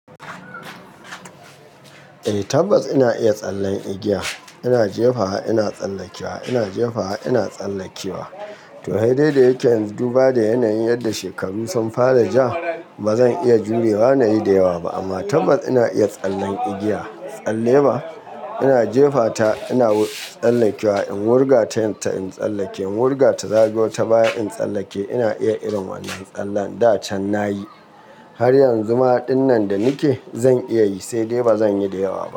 Eh tabbas ina iya tsallen igiya. Ina jefawa, ina tsallakewa, ina jefawa, ina tsallakewa. To aidai da yake yanzu, duba da yanayin yadda shekaru sun fara ja, ba zan iya jurewa na yi da yawa ba. Amma tabbas ina iya tsallen igiya. Tsalle ba? Ina jefata ina tsallakewa. In wurga ta yanta ina tsallake, in wurga ta zagayo ta baya ina tsallake. Ina iya irin wannan tsallen da can nayi. Har yanzu ma ɗinnan da nike zan iya yi, sai dai ba zan yi da yawa ba.